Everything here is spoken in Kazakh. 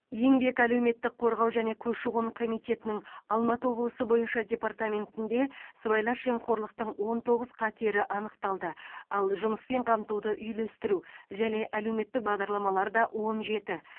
еңбек әлеуметтік қорғау және көші қон комитетінің алматы облысы бойынша департаментінде сыбайлас жемқорлықтың он тоғыз қатері анықталды ал жұмыспен қамтуды үйлестіру және әлеуметтік бағдарламаларда он жеті